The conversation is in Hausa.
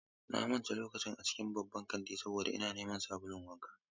Na mance lokacin a cikin babban kantin saboda ina neman sabulun wanka.